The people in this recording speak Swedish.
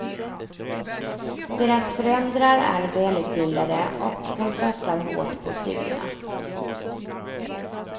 Deras föräldrar är välutbildade och de satsar hårt på studierna.